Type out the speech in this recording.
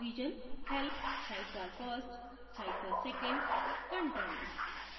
help sidebar first sidebar second content